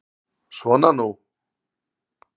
Svona nú.